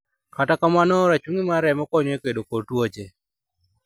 Kata kamano rachungi mar remo konyo e kedo kod tuoche.